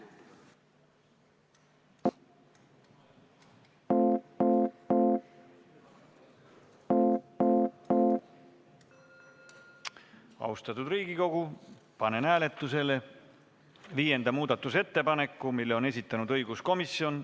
Austatud Riigikogu, panen hääletusele viienda muudatusettepaneku, mille on esitanud õiguskomisjon.